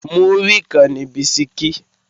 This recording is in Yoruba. Múrí kan ni bisikí